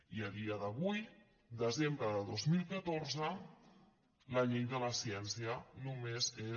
i a dia d’avui desembre de dos mil catorze la llei de la ciència només és